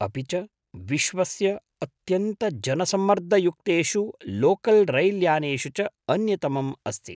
अपि च विश्वस्य अत्यन्तजनसम्मर्दयुक्तेषु लोकल् रैल्यानेषु च अन्यतमम् अस्ति।